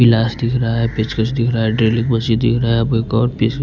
प्लास दिख रहा है पेचकस दिख रहा है ड्रिलिंग मशीन दिख रहा है अब एक और पेंच--